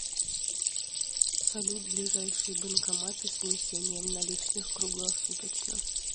салют ближайшие банкоматы с внесением наличных круглосуточно